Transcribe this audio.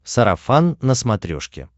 сарафан на смотрешке